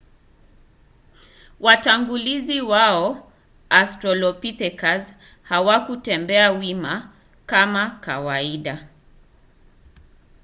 watangulizi wao australopithecus hawakutembea wima kama kawaida